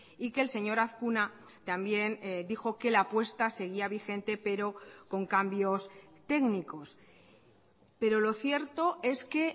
y que el señor azkuna también dijo que la apuesta seguía vigente pero con cambios técnicos pero lo cierto es que